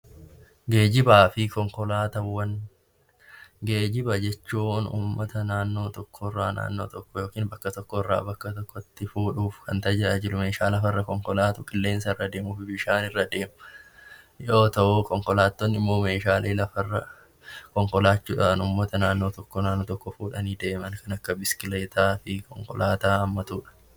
Geejiba fi konkolaataawwan Geejiba jechuun uummata naannoo tokko irraa yookiin bakka tokko irraa gara bakka tokkotti fuudhuuf kan tajaajilu, meeshaa lafarra akkasumas qilleensa irra deemu, bishaan irra deemu yoo ta'u, konkolaattonni immoo meeshaalee lafa irra konkolaachuudhaan uummata naannoo tokkoo irraa naannoo tokkotti fuudhanii deeman kan akka biskileetaa fi konkolaataa hammatudha.